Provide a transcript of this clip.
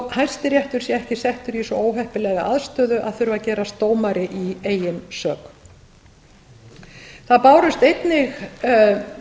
hæstiréttur sé ekki settur í svo óheppilega aðstöðu að þurfa að gerast dómari í eigin sök það bárust einnig umsagnir